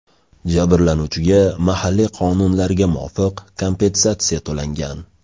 Jabrlanuvchiga mahalliy qonunlarga muvofiq kompensatsiya to‘langan.